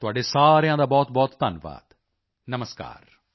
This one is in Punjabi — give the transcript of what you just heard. ਤੁਹਾਡੇ ਸਾਰਿਆਂ ਦਾ ਬਹੁਤਬਹੁਤ ਧੰਨਵਾਦ ਨਮਸਕਾਰ